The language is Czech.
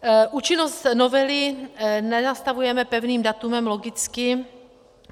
Účinnost novely nenastavujeme pevným datem, logicky.